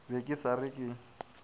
be ke sa re ke